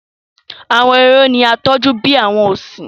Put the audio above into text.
Àwọn ehoro ní a tọjú bí àwọn ọsin.